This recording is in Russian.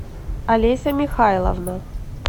олеся михайловна